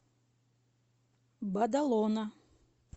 бадалона